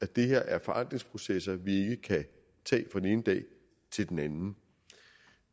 det her er forandringsprocesser vi ikke kan tage fra den ene dag til den anden